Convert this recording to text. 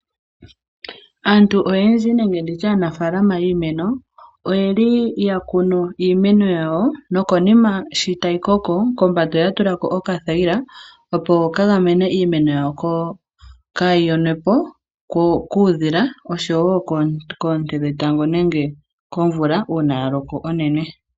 Aantu oyendji nenge ndi tye aanafaalama yiimeno oyeli ya kunu iimeno yawo nokonima shi tayi koko kombanda oya tula ko okathayila opo kaga mene iimeno yawo kaayi yonwe po kuudhila oshowo koonte dhetango nenge komvula uuna ya loko onene.